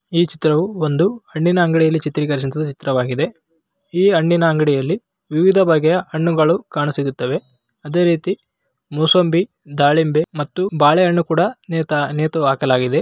ಈ ಚಿತ್ರವು ಒಂದು ಹಣ್ಣಿನ ಅಂಗಡಿಯಲ್ಲಿ ಚಿತ್ರೀಕರಣ ಚಿತ್ರಿಸವಾಗಿದೆ. ಈ ಹಣ್ಣಿನ ಅಂಗಡಿಯಲ್ಲಿ ವಿವಿಧ ಬಗೆಯ ಹಣ್ಣುಗಳು ಕಾಣು ಸಿಗುತ್ತವೆ. ಅದೇ ರೀತಿ ಮೂಸಂಬಿ ದಾಳಿಂಬೆ ಮತ್ತು ಬಾಳೆಹಣ್ಣು ಕೂಡ ನೇತಾ ನೇತು ಹಾಕಲಾಗಿದೆ.